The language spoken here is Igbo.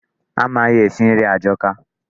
Amaghị esi nri ajọka